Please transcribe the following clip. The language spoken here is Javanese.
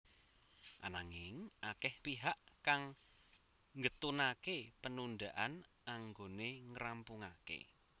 Ananging akeh pihak kang getunaké penundaan anggoné ngrampungaké